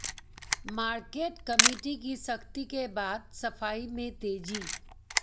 market committee की सख्ती के बाद सफाई में तेजी